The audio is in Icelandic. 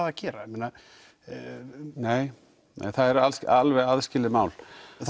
að gera með það nei það er alveg aðskilið mál